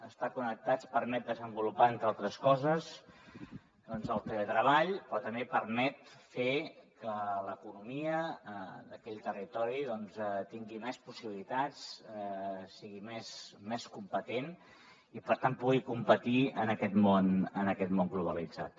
estar connectats permet desenvolupar entre altres coses doncs el teletreball però també permet fer que l’economia d’aquell territori tingui més possibilitats sigui més competent i per tant pugui competir en aquest món globalitzat